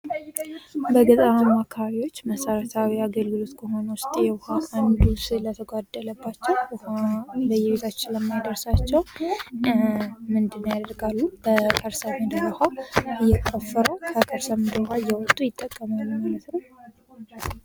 በገጠራማ አካባቢዎች መሰረታዊ አገልግሎት ከሆነው ዉስጥ ዉሃ አንዱ ስለተጕደለባቸው በየቤታቸው ስለማይደርሳቸው ምንድን ያደርጋሉ በከርሰ ምድር ዉሃ እየከፈቱ ከከርሰ ምድር ዉሃ ይጠቀማሉ ማለት ነው::